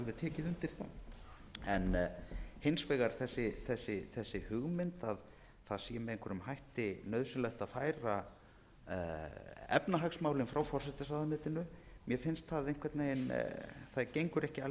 tekið undir það hins vegar þessi hugmynd að það sé með einhverjum hætti nauðsynlegt að færa efnahagsmálin frá forsætisráðuneytinu mér finnst það einhvern veginn það gengur ekki alls upp